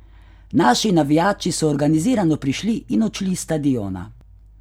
Naši navijači so organizirano prišli in odšli s stadiona.